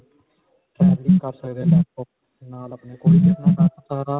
ਨਾਲ ਅਪਨੇ